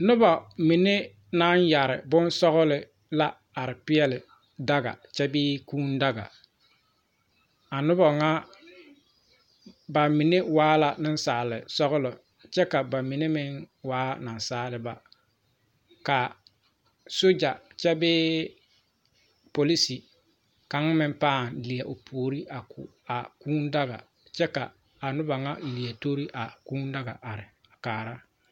Nobɔ mine naŋ yɛre bonsɔgle la are peɛɛli daga kyɛ bee kūū daga a nobɔ ŋa ba mine waa la neŋsaale sɔglɔ kyɛ ka ba mine meŋ waa naasaaliba kaa sogya kyɛ bee polise kaŋ meŋ pãã lie o puore a ko a kūū daga kyɛ ka a noba ŋa lie tori a kūū daga are kaara.